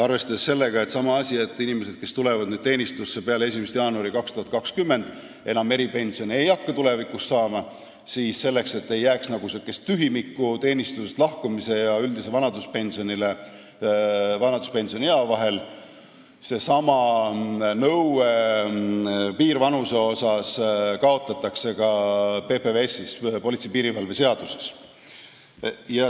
Arvestades samamoodi seda, et inimesed, kes tulevad teenistusse peale 1. jaanuari 2020, ei hakka tulevikus enam eripensioni saama, ja selleks, et ei jääks tühimikku teenistusest lahkumise aja ja üldise vanaduspensioniea vahel, kaotatakse seesama piirvanuse nõue ka PPS-is ehk politsei ja piirivalve seaduses.